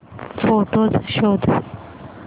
photos शोध